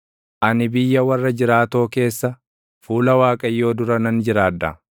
ani biyya warra jiraatoo keessa, fuula Waaqayyoo dura nan jiraadha.